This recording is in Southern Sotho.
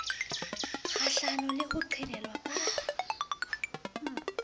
kgahlano le ho qhelelwa ka